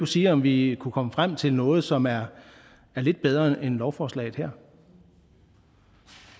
sige om vi kunne komme frem til noget som er lidt bedre end lovforslaget her